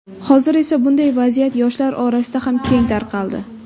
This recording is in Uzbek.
Hozir esa bunday vaziyat yoshlar orasida ham keng tarqaldi.